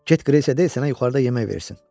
Get Qreysə de, sənə yuxarıda yemək versin.